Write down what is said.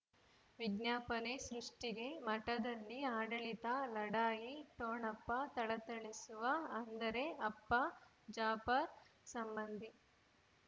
ವಿಜ್ಞಾಪನೆ ಸೃಷ್ಟಿಗೆ ಮಠದಲ್ಲಿ ಆಡಳಿತ ಲಢಾಯಿ ಠೊಣಪ ಥಳಥಳಿಸುವ ಅಂದರೆ ಅಪ್ಪ ಜಾಫರ್ ಸಂಬಂಧಿ